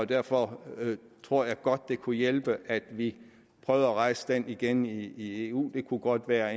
derfor tror jeg godt det kunne hjælpe at vi prøvede at rejse det igen i eu det kunne godt være